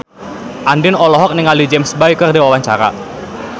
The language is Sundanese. Andien olohok ningali James Bay keur diwawancara